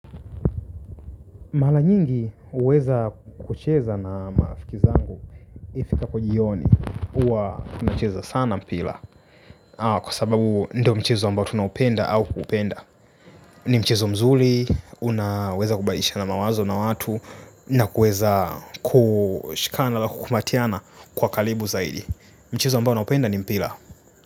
Mara nyingi huweza kucheza na marafiki zangu ifikapo jioni huwa nacheza sana mpira kwa sababu ndio mchezo ambao tunaupenda au kuupenda. Ni mchezo mzuri, unaweza kubadilishana mawazo na watu. Na kuweza kushikana na kukumbatiana kwa karibu zaidi. Mchezo ambao naupenda ni mpira.